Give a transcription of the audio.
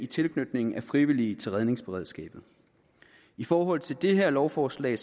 tilknytningen af frivillige til redningsberedskabet i forhold til det her lovforslag